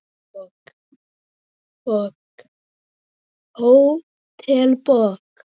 Hótel Borg.